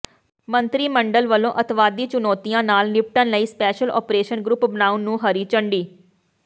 ਮੰਤਰੀ ਮੰਡਲ ਵੱਲੋਂ ਅੱਤਵਾਦੀ ਚੁਣੌਤੀਆਂ ਨਾਲ ਨਿਪਟਣ ਲਈ ਸਪੈਸ਼ਲ ਓਪਰੇਸ਼ਨ ਗਰੁੱਪ ਬਣਾਉਣ ਨੂੰ ਹਰੀ ਝੰਡੀ